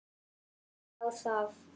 En þá það.